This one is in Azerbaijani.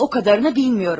O qədərini bilmirəm.